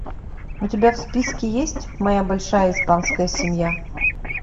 у тебя в списке есть моя большая испанская семья